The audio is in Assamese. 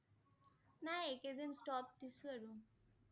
নাই এইকেদিন stop দিছোঁ আৰু।